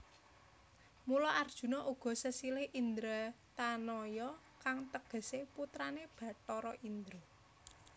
Mula Arjuna uga sesilih Indratanaya kang tegesé putrané Bathara Indra